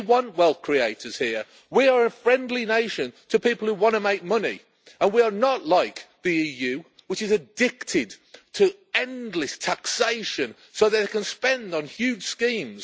we want wealth creators here we are a friendly nation to people who want to make money and we are not like the EU, which is addicted to endless taxation so that they can spend on huge schemes.